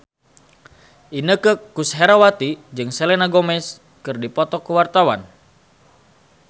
Inneke Koesherawati jeung Selena Gomez keur dipoto ku wartawan